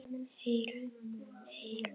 Heyr, heyr.